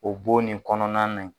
O bon nin kɔnɔna na